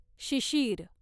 Shishir